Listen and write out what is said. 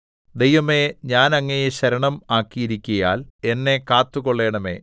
ദൈവമേ ഞാൻ അങ്ങയെ ശരണം ആക്കിയിരിക്കുകയാൽ എന്നെ കാത്തുകൊള്ളണമേ